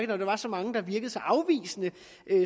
når der var så mange der virkede så afvisende